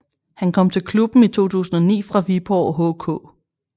Han kom til klubben i 2009 fra Viborg HK